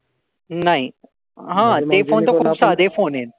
नाही. हा. ते फोन तर खूप साधे फोन येन.